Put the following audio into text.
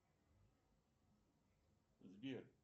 сбер